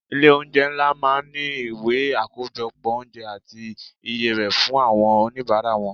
Ilé oúnjẹ ńlá máa ń ní ìwé akojopo oúnjẹ àti iye rè fún àwọn onibara wọn.